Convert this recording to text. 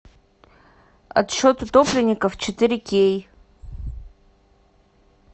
отсчет утопленников четыре кей